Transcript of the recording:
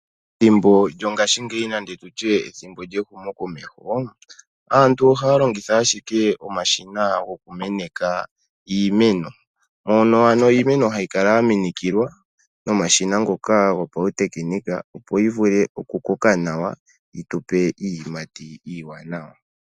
Thimbo lyongaashingeyi nande tutye ethimbo lyehumokomeho, aantu ohaya longitha ashike omashina gokumeneka iimeno, mono ano iimeno hayi kala ya minikilwa nomashina ngoka gopauteknika opo yi vule okukoka nawa yi tu pe iiyimati iiwanawa.